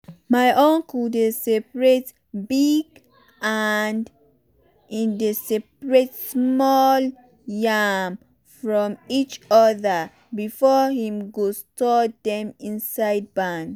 my uncle dey separate big and small yam from each other before him go store dem inside barn.